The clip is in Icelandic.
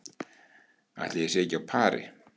Ætli ég sé ekki á pari